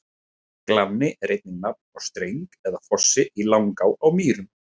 Glanni er einnig nafn á streng eða fossi í Langá á Mýrum.